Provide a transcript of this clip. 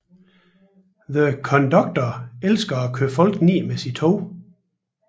The Conductor elsker at køre folk ned med sit tog